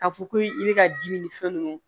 K'a fɔ ko i bɛ ka dimi ni fɛn ninnu